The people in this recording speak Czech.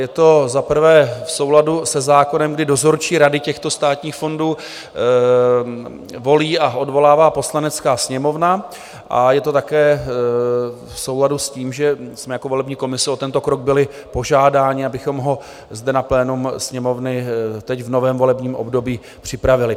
Je to za prvé v souladu se zákonem, kdy dozorčí rady těchto státních fondů volí a odvolává Poslanecká sněmovna, a je to také v souladu s tím, že jsme jako volební komise o tento krok byli požádáni, abychom ho zde na plénu Sněmovny teď v novém volebním období připravili.